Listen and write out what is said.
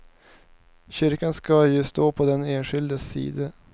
Kyrkan ska ju stå på den enskildes sida.